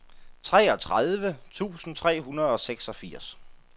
treogtredive tusind tre hundrede og seksogfirs